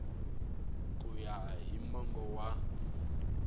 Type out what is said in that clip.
ku ya hi mongo wa